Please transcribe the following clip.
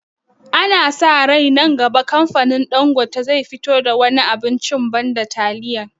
Ana sa rai nan gaba kamfanin Ɗangote zai fito da wani abincin banda taliya